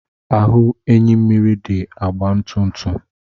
Ahụ enyimmiri dị agba ntụ ntụ.